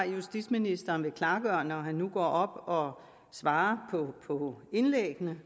justitsministeren vil afklare når han nu går op og svarer på indlæggene